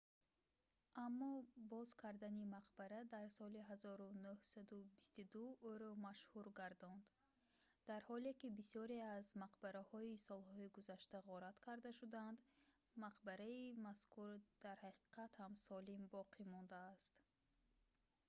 аммо боз кардани мақбара дар соли 1922 ӯро машҳур гардонд дар ҳоле ки бисёре аз мақбараҳои солҳои гузашта ғорат карда шуданд мақбараи мазкур дар ҳақиқат ҳам солим боқӣ мондааст